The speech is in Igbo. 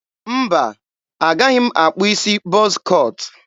mba, agaghị m akpụ isi bọz cọt.